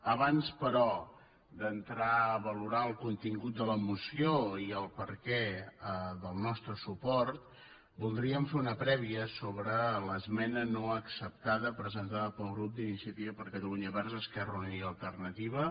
abans però d’entrar a valorar el contingut de la moció i el perquè del nostre suport voldríem fer una prèvia sobre l’esmena no acceptada presentada pel grup d’iniciativa per catalunya verds esquerra unida i alternativa